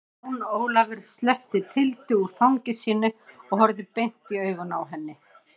Jón Ólafur sleppti Tildu úr fangi sínu og horfði beint i augun á henni.